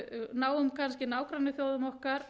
náum kannski nágrannaþjóðum okkar